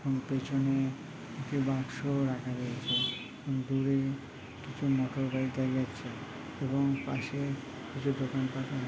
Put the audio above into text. ওর পেছনে একটি বাক্স রাখা রয়েছে দূরে কিছু মোটরবাইক দেখা যাচ্ছে এবং পাশে ওষুধ দোকান --